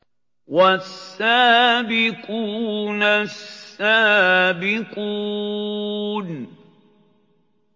وَالسَّابِقُونَ السَّابِقُونَ